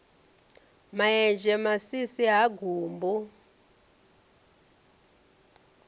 ma enzhe masisi ha gumbu